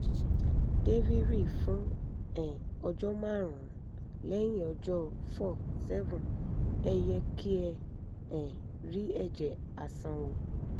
deviry fún um ọjọ́ márùn-ún; lẹ́yìn ọjọ́ four-seven ẹ yẹ kí ẹ um rí ẹ̀jẹ̀ àsanwó